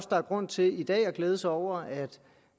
der er grund til i dag at glæde sig over